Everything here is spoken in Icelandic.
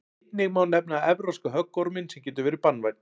einnig má nefna evrópska höggorminn sem getur verið banvænn